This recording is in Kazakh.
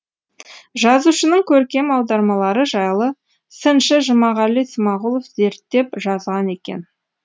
жазушының көркем аудармалары жайлы сыншы жұмағали смағұлов зерттеп жазған екен